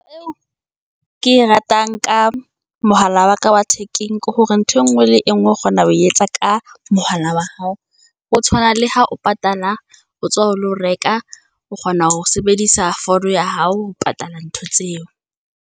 ke e ratang ka mohala wa ka wa thekeng, ke hore ntho engwe le engwe o kgona ho etsa ka mohala wa hao, ho tshwana le ha o patala, o tswa o lo reka. O kgona ho sebedisa founu ya hao, ho patala ntho tseo.